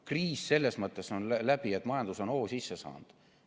Kriis on selles mõttes läbi, et majandus on hoo sisse saanud.